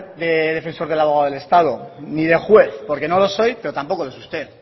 de defensor del abogado del estado ni de juez porque no lo soy pero tampoco lo es usted